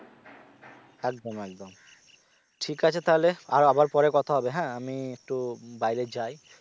একদম একদম ঠিক আছে তাহলে আর আবার পরে কথা হবে হ্যাঁ আমি একটু বাইরে যাই